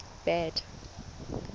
bad